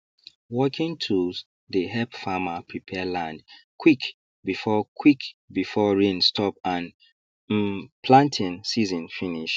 working tools dey help farmer prepare land quick before quick before rain stop and um planting season finish